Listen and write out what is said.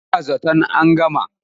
Ba na zaton an gama.